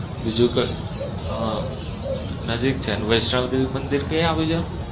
બીજું કે હ નજીક છે અને વૈષ્ણવદેવી મંદિર ક્યાં આવ્યુ છે?